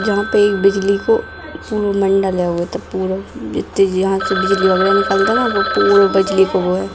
जहाँ पे एक बिजली को पुरोमण्डल है वो त पुरो जित्ती जे यहां से बिजली वगेरा निकलता है न वो पूर बिजली को वो है।